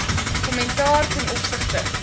kommentaar ten opsigte